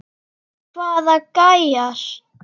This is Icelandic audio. Hvaða gæjar?